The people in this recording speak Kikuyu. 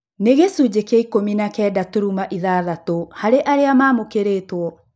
Nĩ gĩcunjĩ kĩa ikũmi na kenda turuma ithathatũ harĩ arĩa maamũkĩrĩtũo